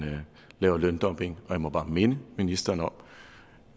laver løndumping og jeg må bare minde ministeren om